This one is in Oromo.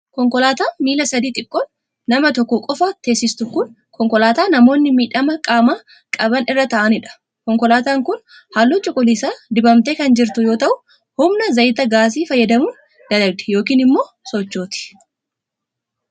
Konkolaataan miila sadii xiqqoon nama tokko qofa teesistu kun, konkolaataa namoonni miidhama qaamaa qaban irra ta'anii dha. Konkolaataan kun, haalluu cuquliisa dibamtee kan jirtu yoo ta'u, humna zayita gaasii fayyadamuun dalagdi yookiin immoo sochooti.